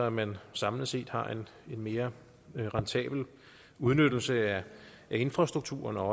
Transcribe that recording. at man samlet set har en mere rentabel udnyttelse af infrastrukturen og